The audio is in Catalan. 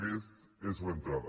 aquesta és l’entrada